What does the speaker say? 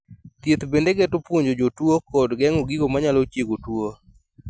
Thieth bende geto puonjo jatuo kod geng'o gigo manyalo chiego tuo